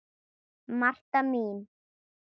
Marta mín.